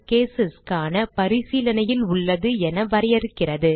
cases க்கான பரிசீலனையில் உள்ளது என வரையறுக்கிறது